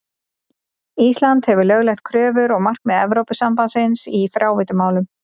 Ísland hefur lögleitt kröfur og markmið Evrópusambandsins í fráveitumálum.